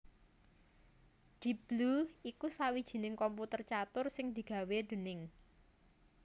Deep Blue iku sawijining komputer catur sing digawé déning